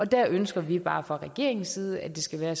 der ønsker vi bare fra regeringens side at der skal være